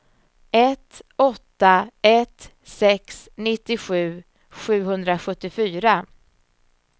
ett åtta ett sex nittiosju sjuhundrasjuttiofyra